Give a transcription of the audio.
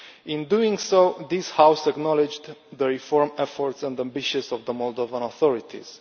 In doing so, this House acknowledged the reform efforts and ambitions of the Moldovan authorities.